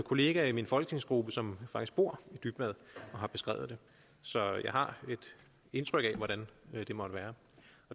kollega i min folketingsgruppe som faktisk bor i dybvad og som har beskrevet det så jeg har et indtryk af hvordan det måtte være